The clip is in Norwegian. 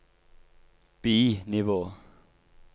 bi-nivå